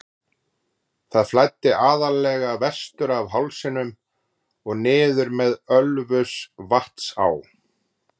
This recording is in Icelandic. Það flæddi aðallega vestur af hálsinum og niður með Ölfusvatnsá.